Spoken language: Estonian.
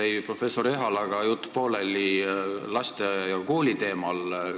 Mul jäi professor Ehalaga pooleli jutt lasteaia ja kooli teemal.